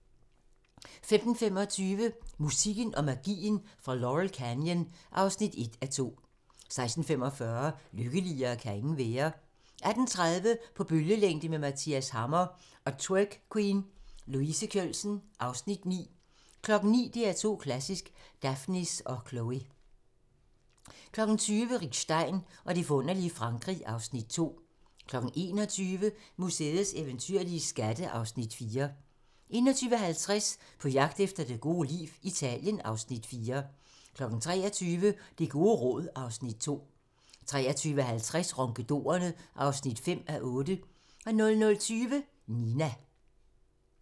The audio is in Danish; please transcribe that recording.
15:25: Musikken og magien fra Laurel Canyon (1:2) 16:45: Lykkeligere kan ingen være 18:30: På bølgelængde med Mathias Hammer & Twerk Queen, Louise Kjølsen (Afs. 9) 19:00: DR2 Klassisk: Daphnis & Chloé 20:00: Rick Stein og det forunderlige Frankrig (Afs. 2) 21:00: Museets eventyrlige skatte (Afs. 4) 21:50: På jagt efter det gode liv - Italien (Afs. 4) 23:00: Det gode råd (Afs. 2) 23:50: Ronkedorerne (5:8) 00:20: Nina